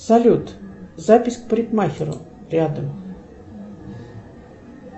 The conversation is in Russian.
салют запись к парикмахеру рядом